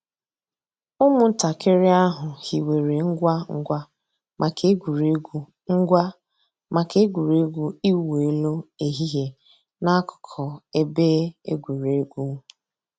Ụ́mụ̀ntàkìrì àhụ̀ hìwèrè ngwá ngwá mǎká ègwè́régwụ̀ ngwá mǎká ègwè́régwụ̀ ị̀wụ̀ èlù èhìhìè n'àkùkò èbè ègwè́régwụ̀.